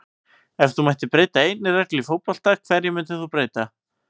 Ef þú mættir breyta einni reglu í fótbolta, hverju myndir þú breyta??